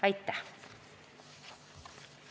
Aitäh!